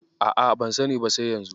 A'a, ban sani ba sai yanzu.